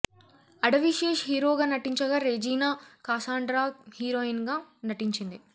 అడవి శేష్ హీరోగా నటించగా రెజీనా కాసాండ్రా హీరోయిన్ గా నటించింది